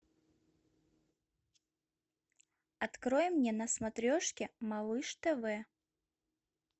открой мне на смотрешке малыш тв